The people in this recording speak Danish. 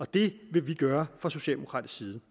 det vil vi gøre fra socialdemokratisk side